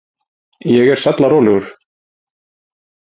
Ég er sallarólegur.